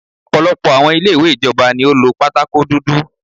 Ọ̀pọ̀lọpọ̀ àwọn ilé ìwé ìjọba ni ó lo pátákó dúdú.